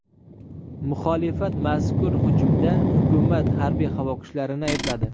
Muxolifat mazkur hujumda hukumat harbiy-havo kuchlarini aybladi.